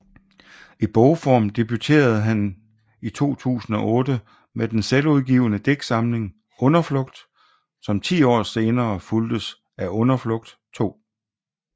I bogform debuterede han 2008 med den selvudgivne digtsamling Underflugt som ti år senere fulgtes af Underflugt II